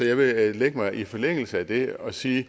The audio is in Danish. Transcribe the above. jeg vil lægge mig i forlængelse af det og sige